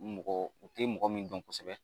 Mɔgɔ u tɛ mɔgɔ min dɔn kosɛbɛ